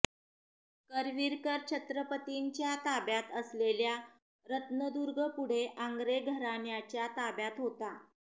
करवीरकर छत्रपतींच्या ताब्यात असलेल्या रत्नदुर्ग पुढे आंग्रे घराण्याच्या ताब्यात होता